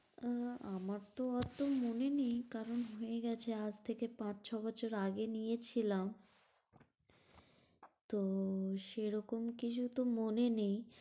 আহ আমার তো অত মনে নেই কারণ হয়ে গেছে আজ থেকে পাঁচ ছ' বছর আগে নিয়েছিলাম। তো সেরকম কিছু তো মনে নেই।